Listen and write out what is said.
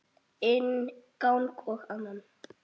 Inn gang og annan.